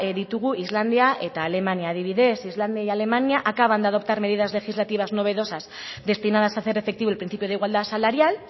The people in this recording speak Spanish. ditugu islandia eta alemania adibidez islandia y alemania acaban de adoptar medidas legislativas novedosas destinadas a hacer efectivo el principio de igualdad salarial